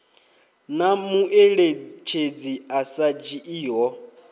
na mueletshedzi a sa dzhiiho